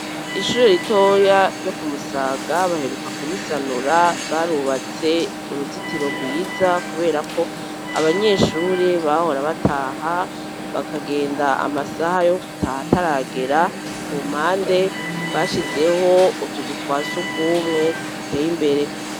Ishure ritoya ryo ku musaga baheruka ku risanura barubatse uruzitiro rwiza kubera ko abanyeshuri bahora bataha bakagenda amasaha yo gutaha taragera ku mpande bashizeho utuzu twasubwumwe tuteye imbere.